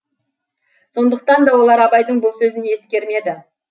сондықтан да олар абайдың бұл сөзін ескермеді